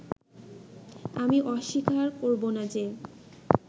আমি অস্বীকার করবোনা যে